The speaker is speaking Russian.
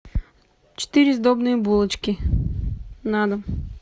четыре сдобные булочки на дом